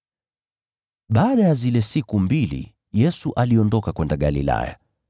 Baada ya zile siku mbili, Yesu aliondoka kwenda Galilaya.